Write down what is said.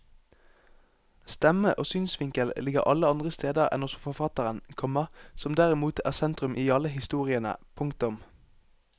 Stemme og synsvinkel ligger alle andre steder enn hos forfatteren, komma som derimot er sentrum i alle historiene. punktum